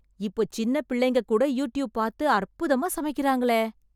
இப்போ சின்னப் பிள்ளைங்க கூட யூட்யூப் பார்த்து அற்புதமா சமைக்கறாங்களே...